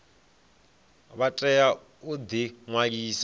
vha tea u ḓi ṅwalisa